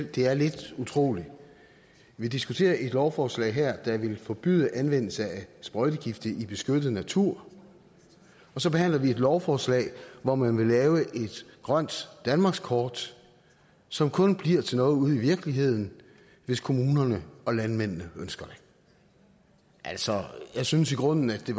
at det er lidt utroligt vi diskuterer her et lovforslag der vil forbyde anvendelse af sprøjtegifte i beskyttet natur og så behandler vi et lovforslag om at man vil lave et grønt danmarkskort som kun bliver til noget ude i virkeligheden hvis kommunerne og landmændene ønsker det altså jeg synes i grunden at det